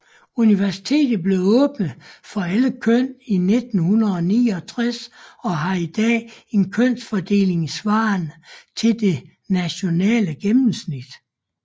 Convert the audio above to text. Universitetet blev åbnet for alle køn 1969 og har i dag en kønsfordeling svarende til det nationale gennemsnit